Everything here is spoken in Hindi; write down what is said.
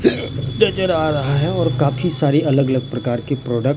नजर आ रहा है और काफी सारी अलग अलग प्रकार की प्रोडक्ट --